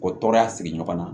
O tɔɔrɔya sigi ɲɔgɔn na